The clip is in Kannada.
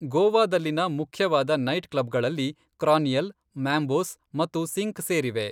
ಗೋವಾದಲ್ಲಿನ ಮುಖ್ಯವಾದ ನೈಟ್ಕ್ಲಬ್ಗಳಲ್ಲಿ ಕ್ರಾನಿಕಲ್, ಮ್ಯಾಂಬೋಸ್ ಮತ್ತು ಸಿಂಕ್ ಸೇರಿವೆ.